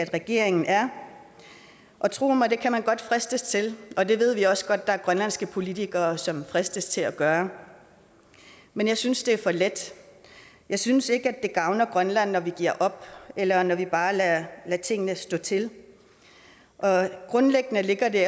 regeringen er tro mig det kan man godt fristes til og det ved vi også godt der er grønlandske politikere som fristes til at gøre men jeg synes det er for let jeg synes ikke at det gavner grønland at vi giver op eller når vi bare lader tingene stå til grundlæggende ligger det